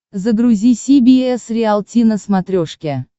загрузи си би эс риалти на смотрешке